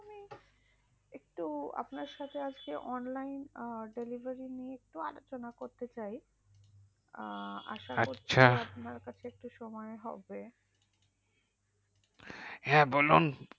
একটু আপনার সাথে আজকে online delivery নিয়ে একটু আলোচনা করতে চাই আসা করছি আচ্ছা আপনার একটু সুময় হবে হ্যাঁ বলুন